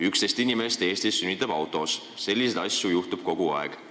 11 inimest Eestis sünnitab autos, selliseid asju juhtub kogu aeg.